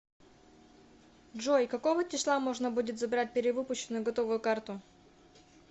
джой какого числа можно будет забрать перевыпущенную готовую карту